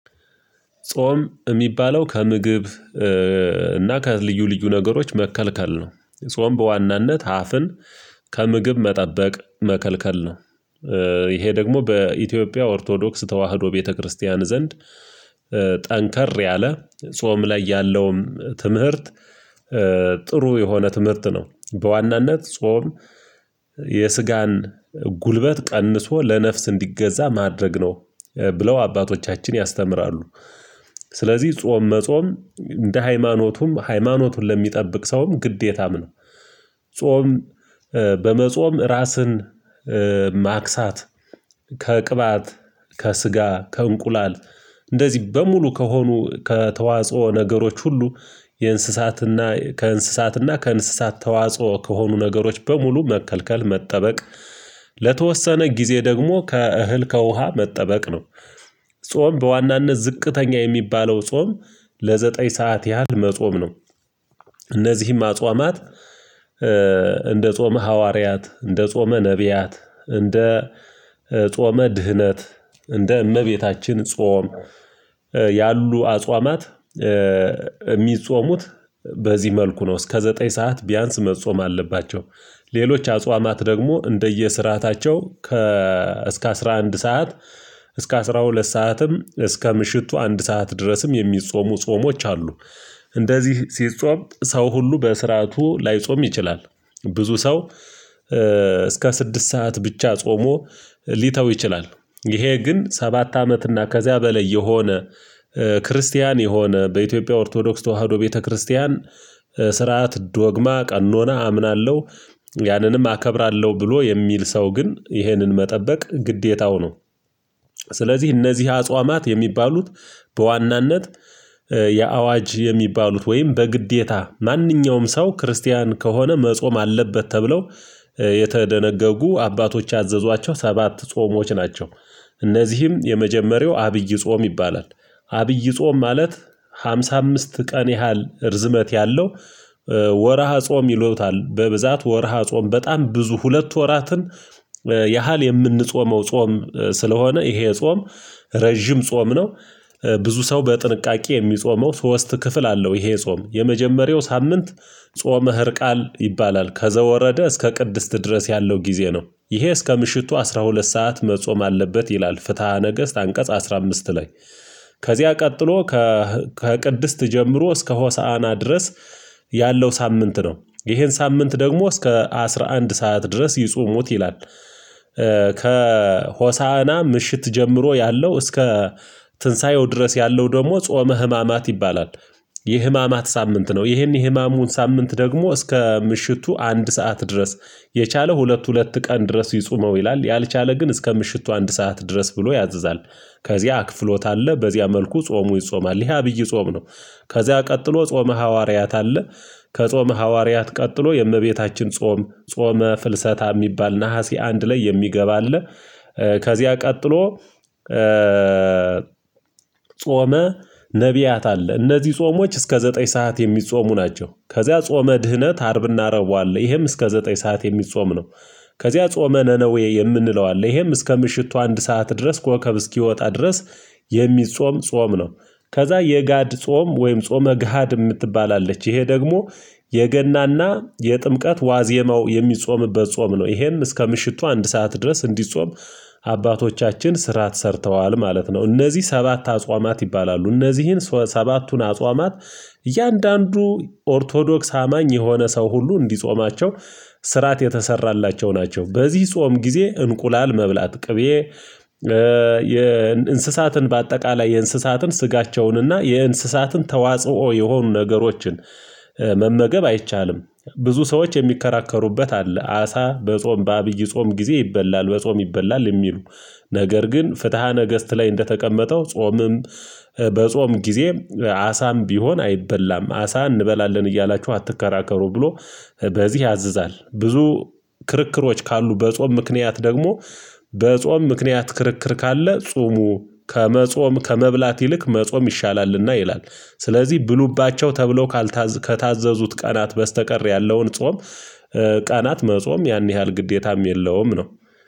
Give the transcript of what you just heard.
ጾም የሚባለው ከምግብ እና ከልዩ ልዩ ነገሮች መከልከል ነው። ጾም በዋናነት አፍን ከምግብ መጠበቅ መከልከል ነው። ይሄ ደግሞ በኢትዮጵያ ኦርቶዶክስ ተዋህዶ ቤተክርስቲያን ዘንድ ጠንከር ያለ ጾም ላይ ያለውም ትምህርት ጥሩ የሆነ ትምህርት ነው። በዋናነት ጾም የስጋን ጉልበት ቀንሶ ለነፍስ እንዲገዛ ማድረግ ነው። ብለው አባቶቻችን ያስተምራሉ። ስለዚህ ጾም መጾም እንደ ሃይማኖቱም ሃይማኖቱን ለሚጠብቅ ሰውም ግዴታም ነው ጾም በመጾም ራስን ማክሳት ከቅባት፣ ከስጋ፣ ከእንቁላል፣ እንደዚህ በሙሉ ከሆኑ ከተዋጽኦ ነገሮች ሁሉ የእንስሳትና ከእንስሳትና ከእንስሳት ተዋጽኦ ከሆኑ ነገሮች በሙሉ መከልከል፣ መጠበቅ ለተወሰነ ጊዜ ጊዜ ደግሞ ከእህል፣ ከውሃ መጠበቅ ነው። ጾም በዋናነት ዝቅተኛ የሚባለው ጾም ለዘጠኝ ሰዓት ያህል መጾም ነው። እነዚህም አጽዋማት ጾመ ሐዋርያት፣ እንደ ጾመ ነብያት፣ እንደ ጾመ ድህነት፣ እንደ እመቤታችን ጾም ያሉ አጽዋማት የሚጾሙት በዚህ መልኩ ነው እስከ ዘጠኝ ሰዓት ቢያንስ መጾም አለባቸው። ሌሎች አጽዋማት ደግሞ እንደየ ስርዓታቸው ከ እስከ አስራ አንድ ሰዓት፣ እስከ አስራ ሁለት፣ ሰዓትም እስከ ምሽቱ አንድ ሰዓት ድረስም የሚጾሙ ጾሞች አሉ። እንደዚህ ሲጾም ሰው ሁሉ በስርዓቱ ላይጾም ይችላል። ብዙ ሰው እስከ ስድስት ሰዓት ብቻ ጾሞ ሊተው ይችላል። ይሄ ግን ሰባት አመት እና ከዚያ በላይ የሆነ ክርስቲያን የሆነ በኢትዮጵያ ኦርቶዶክስ ተዋህዶ ቤተክርስቲያን ስርዓት ዶግማ ቀኖና አምናለሁ ያንንም አከብራለሁ። ብሎ የሚል ሰው ግን ይህንን መጠበቅ ግዴታው ነው። ስለዚህ እነዚህ አጽዋማት የሚባሉት በዋናነት የአዋጅ የሚባሉት ወይም በግዴታ ማንኛውም ሰው ክርስቲያን ከሆነ መጾም አለበት ተብለው የተደነገጉ አባቶች ያዘዟቸው ሰባት ጾሞች ናቸው። እነዚህም የመጀመሪያው አብይ ጾም ይባላል፣ አብይ ጾም ማለት? ሃምሳ አምስት ቀን ያህል እርዝመት ያለው ወርሃ ጾም ይሎታል። በብዛት ወርሃ ጾም በጣም ብዙ ሁለት ወራትን የምንጾመው ጾም ስለሆነ ይሄ ጾም ረጅም ጾም ነው። ብዙ ሰው በጥንቃቄ የሚጾመው ሶስት ክፍል አለው ይሄ ጾም የመጀመሪያው ሳምንት ጾመ ህርቃል ይባላል፣ ከዘወረደ እስከ ቅድስት ድረስ ያለው ጊዜ ነው። ይሄ እስከ ምሽቱ አስራ ሁለት ሰዓት መጾም አለበት ይላል። ፍትሃ ነገስት አንቀጽ አስራ አምስት ላይ ከዚያ ቀጥሎ ከቅድስት ጀምሮ እስከ ሆሳዕና ድረስ ያለው ሳምንት ነው። ይሄን ሳምንት ደግሞ እስከ አስራ አንድ ሰዓት ድረስ ይጾሙት ይላል። ከሆሳዕና ምሽት ጀምሮ ያለው እስከ ትንሳኤው ድረስ ያለው ደግሞ ጾመ ህማማት ይባላል። የህማማት ሳምንት ነው ይሄን የህማሙን ሳምንት ደግሞ እስከ ምሽቱ አንድ ሰዓት ድረስ የቻለው ሁለት ሁለት ቀን ድረስ ይጾመው ይላል ያልቻለ ግን እስከ ምሽቱ አንድ ሰዓት ድረስ ብሎ ያዘዛል ከዚያ ክፍሎት አለ በዚያ መልኩ ጾሙ ይጾማል ይሄ አብይ ጾም ነው። ከዚያ ቀጥሎ ጾመ ሐዋርያት አለ። ከጾመ ሐዋርያት ቀጥሎ የእመቤታችን ጾም፣ ጾመ ፍልሰታ የሚባል። ነሀሴ አንድ ላይ የሚገባ አለ። ከዚያ ቀጥሎ ጾመ ነብያት አለ። እነዚህ ጾሞች እስከ ዘጠኝ ሰዓት የሚጾሙ ናቸው። ከዚያ ጾመ ድህነት አርብና ረቡ አለ ይሄም እስከ ዘጠኝ ሰዓት የሚጾም ነው። ከዚያ ጾመ ነነዌ የምንለው አለ ይሄም እስከ ምሽቱ አንድ ሰዓት ድረስ ከወከብ እስኪወጣ ድረስ የሚጾም ጾም ነው። ከዛ የጋድ ጾም ወይም ጾመ ገሃድ የምትባላለች ይሄ ደግሞ የገናና የጥምቀት ዋዜማው የሚጾምበት ጾም ነው ይሄም እስከ ምሽቱ አንድ ሰዓት ድረስ እንዲጾም አባቶቻችን ስርዓት ሰርተዋል ማለት ነው እነዚህ ሰባት አጽዋማት ይባላሉ እነዚህን ሰባቱን አጽዋማት እያንዳንዱ ኦርቶዶክስ አማኝ የሆነ ሰው ሁሉ እንዲጾማቸው ስርዓት የተሰራላቸው ናቸው። በዚህ ጾም ጊዜ እንቁላል መብላት ቅቤ የእንስሳትን በአጠቃላይ የእንስሳትን ስጋቸውንና የእንስሳትን ተዋጽኦ የሆኑ ነገሮችን መመገብ አይቻልም። ብዙ ሰዎች የሚከራከሩበት አለ አሳ በጾም በአብይ ጾም ጊዜ ይበላል በጾም ይበላል የሚሉ ነገር ግን ፍትሃ ነገስት ላይ እንደተቀመጠው ጾምም በጾም ጊዜ አሳም ቢሆን አይበላም አሳ እንበላለን እያላችሁ አትከራከሩ ብሎ በዚህ ያዝዛል ብዙ ክርክሮች ካሉ በጾም ምክንያት ደግሞ በጾም ምክንያት ክርክር ካለ ጾሙ ከመጾም ከመብላት ይልቅ መጾም ይሻላልና። ይላል ስለዚህ ብሉባቸው ተብሎ ካልታዘዙት ቀናት በስተቀር ያለውን ጾም ቀናት መጾም ያን ያህል ግዴታም የለውም ነው።